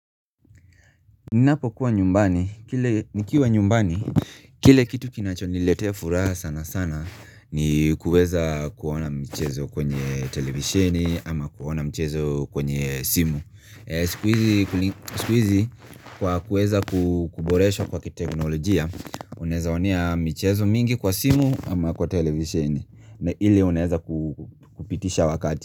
Ninapo kuwa nyumbani, nikiwa nyumbani Kile kitu kinacho niletea furaha sana sana ni kuweza kuona mchezo kwenye televisheni ama kuona mchezo kwenye simu Sikuizi kwa kuweza kuboresha kwa kiteknologia Unezaonea michezo mingi kwa simu ama kwa televisheni na ili uneza kupitisha wakati.